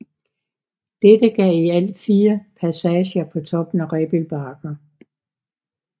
Dette gav i alt 4 passager på toppen af Rebild Bakker